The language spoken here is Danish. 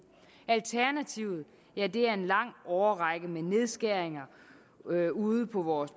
alternativet ja det er en lang årrække med nedskæringer ude på vores